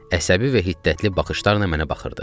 Əsəbi və hiddətli baxışlarla mənə baxırdı.